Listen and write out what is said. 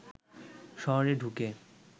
শহরে ঢুকে